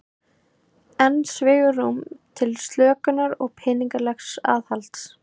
Enn svigrúm til slökunar peningalegs aðhalds